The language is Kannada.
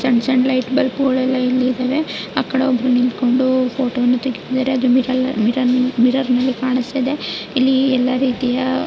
ಸಣ್ಣ ಸಣ್ಣ ಲೈಟ್ ಬಲ್ಬ್ ಗಳು ಎಲ್ಲ ಇಲ್ಲಿ ಇದವೆ ಆಕಡೆ ಒಬ್ಬರು ನಿಂತುಕೊಂಡು ಫೋಟೋ ವನ್ನು ತೆಗೆತಿದರೆ ಅದು ಮಿರ ಮಿರರ ಮಿರರ್ನ ಲ್ಲಿ ಕಾಣಸ್ತಿದೆ ಇಲ್ಲಿ ಎಲ್ಲ ರೀತಿಯ --